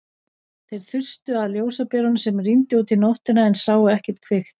Þeir þustu að ljósberanum sem rýndi út í nóttina en sáu ekkert kvikt.